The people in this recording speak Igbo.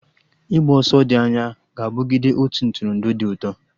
Ịgba ọsọ dị anya ga-abụgide otu Ntụrụndụ dị ụtọ